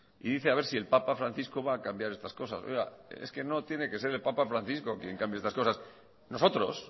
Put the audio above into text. y dice a ver si el papa francisco va a cambiar estas cosas oiga es que no tiene que ser el papa francisco quien cambie estas cosas nosotros